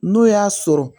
N'o y'a sɔrɔ